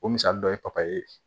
O misali dɔ ye papaye ye